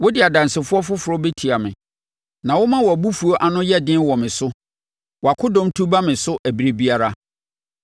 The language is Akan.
Wode adansefoɔ foforɔ bɛtia me na woma wʼabofuo ano yɛ den wɔ me so; wʼakodɔm tu ba me so ɛberɛ biara.